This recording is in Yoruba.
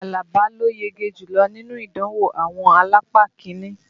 Àlàbá ló yege jùlọ́ nínú ìdánwò àwọn alápá kiní